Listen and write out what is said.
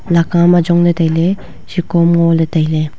laka am ajong le taile sako am ngo le taile.